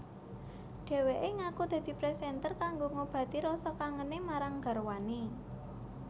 Dheweke ngaku dadi presenter kanggo ngobati rasa kangene marang garwane